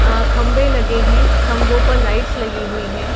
आ खंभे लगे है खंभों पर लाइट्स लगी हुई है।